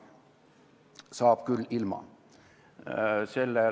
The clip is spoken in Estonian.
Saab küll ka ilma.